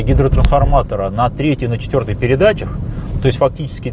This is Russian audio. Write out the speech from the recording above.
гидротрансформатора одна третьих на четвёртой передачах то есть фактически